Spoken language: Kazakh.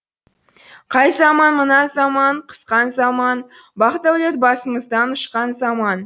қай заман мына заман қысқан заман бақ дәулет басымыздан ұшқан заман